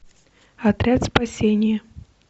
отряд спасения